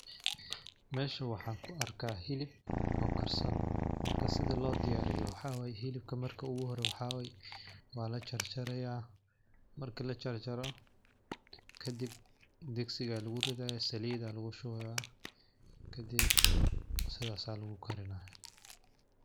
Meeshan waxaan ku arkaa hilib oo karsan ,marka sida loo diyaariyo waxaa waay hilibka marka oogu hire waxaa way waa la jarjaraaya ,marki la jarjaro kadib digsigaa lagu ridayaa ,saliida lagu shubaaya , kadib sidaas aa lagu karinayaa .